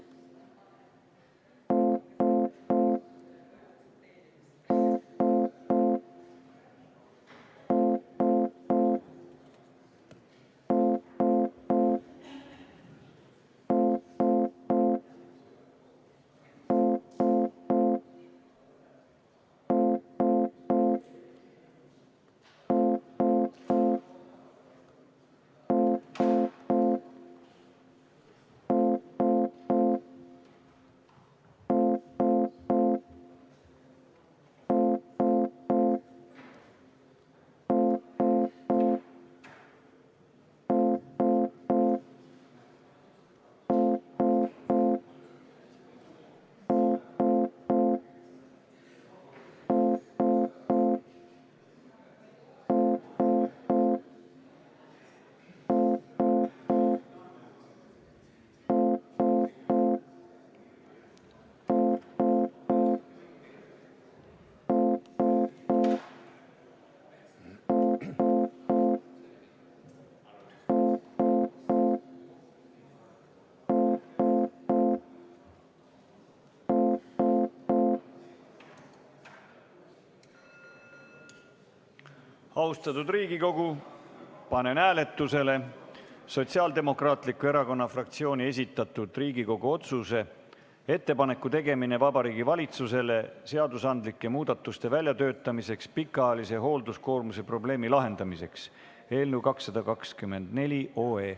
Austatud Riigikogu, panen hääletusele Sotsiaaldemokraatliku Erakonna fraktsiooni esitatud Riigikogu otsuse "Ettepaneku tegemine Vabariigi Valitsusele seadusandlike muudatuste väljatöötamiseks pikaajalise hoolduskoormuse probleemi lahendamiseks" eelnõu 224.